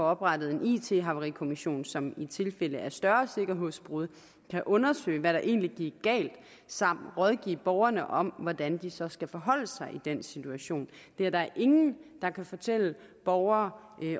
oprettet en it havarikommission som i tilfælde af større sikkerhedsbrud kan undersøge hvad der egentlig gik galt samt rådgive borgerne om hvordan de så skal forholde sig i den situation det er der ingen der kan fortælle borgerne